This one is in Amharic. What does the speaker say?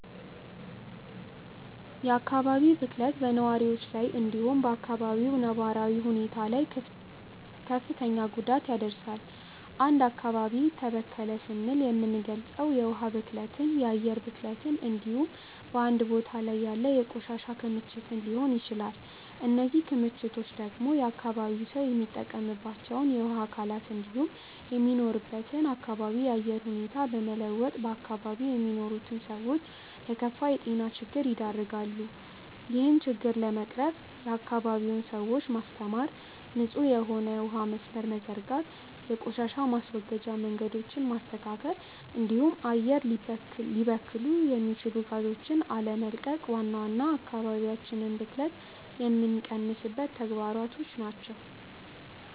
የአካባቢ ብክለት በነዋሪዎች ላይ እንዲሁም በ አካባቢው ነባራዊ ሁኔታ ላይ ክፍትን ጉዳት ያደርሳል። አንድ አካባቢ ተበከለ ስንል የምንልገጸው የውሀ ብክለትን፣ የአየር ብክለትን እንዲሁም በአንድ ቦታ ላይ ያለ የቆሻሻ ክምችትን ሊሆን ይችላል። እነዚህ ክምችቶች ደግሞ የአካባቢው ሰው የሚጠቀምባቸውን የውሀ አካላት እንዲሁም የሚኖርበትን አካባቢ የአየር ሁኔታ በመለወጥ በአካባቢው የሚኖሩትን ሰዎች ለከፋ የጤና ችግር ይደረጋሉ። ይህን ችግር ለመቅረፍም የአካባቢውን ሰዎች ማስተማር፣ ንጹህ የሆነ የውሀ መስመርን መዘርጋት፣ የቆሻሻ ማስወገጃ መንገዶችን ማስተካከል እንዲሁም አየር ሊበክሉ የሚችሉ ጋዞችን አለመቀቅ ዋና ዋና የአካባቢ ብክለትን የሚቀንሱ ተግባራት ናቸው።